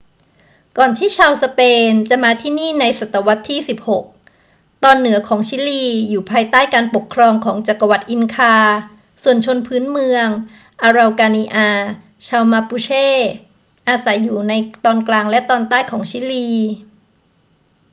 ก่อนที่ชาวสเปนจะมาที่นี่ในศตวรรษที่ 16 ตอนเหนือของชิลีอยู่ภายใต้การปกครองของจักรวรรดิอินคา ส่วนชนพื้นเมืองอาเรากานิอา ชาวมาปูเช อาศัยอยู่ในตอนกลางและตอนใต้ของชิลี